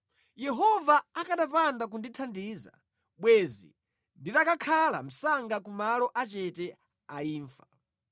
Yehova akanapanda kundithandiza, bwenzi nditakakhala msanga ku malo achete a imfa.